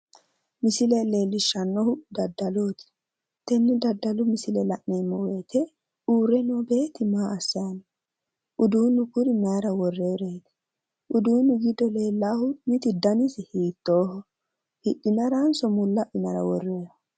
Misile leellishshannohu dadalooti tenne daddalu misile la'neemmo woyite uurre noo beetti maa assanni no? Uduunnu giddo leellaahu mitu danisi hiittooho? hidhinaranso mulla adhinara worroonniho?